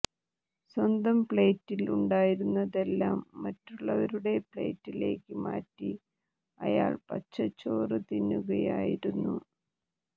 സ്വന്തം പ്ലേറ്റിൽ ഉണ്ടായിരുന്നതെല്ലാം മറ്റുള്ളവരുടെ പ്ലേറ്റിലേക്ക് മാറ്റി അയാൾ പച്ചച്ചോറ് തിന്നുകയായിരുന്നു